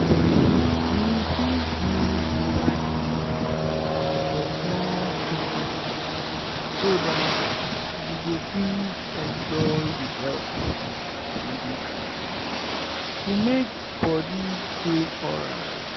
you fit use mobile clinic for small treatment so that you go fit enjoy the help wey dey ground to make body dey alright.